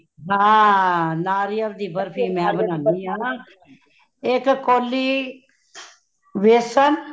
ਹਾਂ ,ਨਾਰੀਅਲ ਦੀ ਬਰਫੀ ਮੈ ਬਨਾਂਦੀ ਹਾ ਇਕ ਕੋਲੀ ਵੇਸਨ